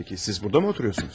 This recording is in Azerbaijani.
Pəki, siz burda mı oturursunuz?